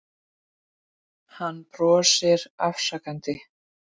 Hann brosir afsakandi.